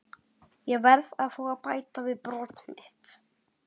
Ég verð að fá að bæta fyrir brot mitt.